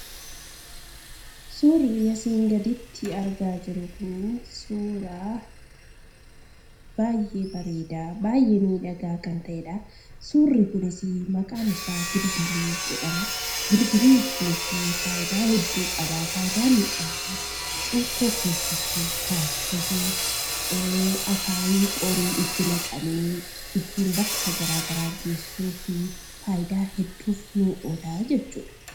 Suurri asiin gaditti argaa jirru kunii suuraa baay'ee bareedaaf baay'ee miidhagaa kan ta'edha. Suurri kunis "Gilgilii" jedhama. Gilgiliin kunis faayidaa hedduu qaba. Faayidaa inni qabu cuukkoo keessatti ka'achuuf, akaayif qorii itti naqanii ittiin bakka gara garaa geessuufi faayidaa hedduuf oola jechuudha.